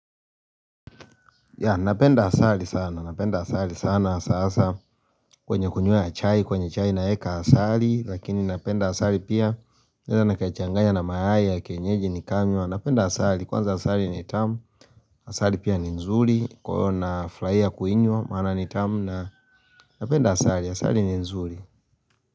Ya napenda asali sana, napenda asali sana sasa kwenye kunywea chai, kwenye chai naeka asali lakini napenda asali pia Naeza nikachangaya na mayai ya kienyeji nikanywa, napenda asali, kwanza asali ni tamu, asali pia ni nzuri, kwenye afya kuinywa, maana ni tamu na napenda asali, asali ni nzuri.